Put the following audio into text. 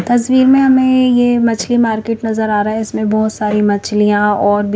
तस्वीर में हमें ये मछली मार्केट नजर आ रहा है इसमें बहोत सारी मछलियां और भी--